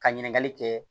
Ka ɲininkali kɛ